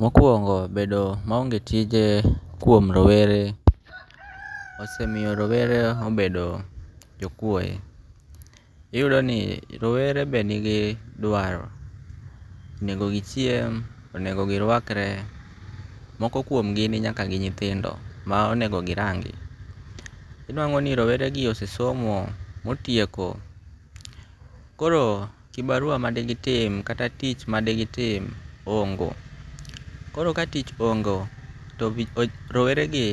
Mokuongo' bedo maonge tije kuomrowere osemiyo rowere obedo jakuoye, iyudo ni rowere bende nigi dwaro, onego gichiem onedo girwakre moko kumogi ninyaka gi nyithindo manyaka girangi' iyudo ni rowere gi osesomo motieko koro kibarua madegitim kata tich madegitim ohongo, koro ka tich hongo' to roweregi